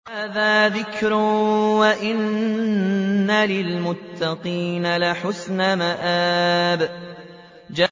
هَٰذَا ذِكْرٌ ۚ وَإِنَّ لِلْمُتَّقِينَ لَحُسْنَ مَآبٍ